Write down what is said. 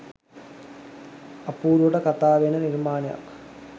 අපූරුවට කතාවෙන නිර්මාණයක්